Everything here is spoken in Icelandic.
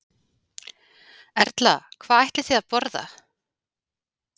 Erla: Hvað ætlið þið að borða?